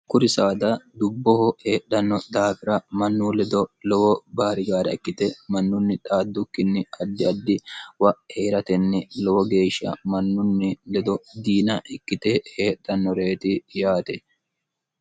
okkuri saada dubboho heedhanno daafira mannu ledo lowo baarigaara ikkite mannunni xaaddukkinni addi addi wa eeratenni lowo geeshsha mannunni ledo diina ikkite heedhannoreeti yaate